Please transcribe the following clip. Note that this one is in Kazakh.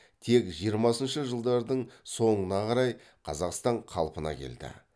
тек жиырмасыншы жылдардың соңына қарай қазақстан қалпына келді